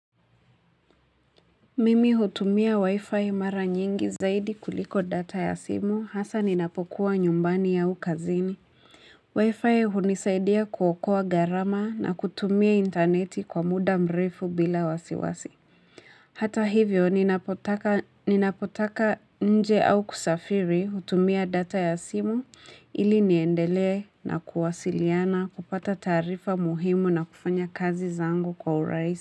Mimi hutumia wi-fi mara nyingi zaidi kuliko data ya simu hasa ninapokuwa nyumbani au kazini. Wi-fi hunisaidia kuokoa gharama na kutumia intaneti kwa muda mrefu bila wasiwasi. Hata hivyo ninapotaka nje au kusafiri hutumia data ya simu ili niendelee na kuwasiliana kupata taarifa muhimu na kufanya kazi zangu kwa urahisi.